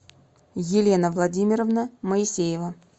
елена владимировна моисеева